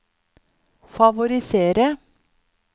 favorisere